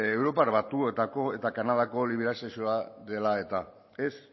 europar batasuneko eta kanadako liberalizazioa dela eta ez